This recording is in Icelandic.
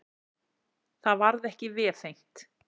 Það varð ekki vefengt.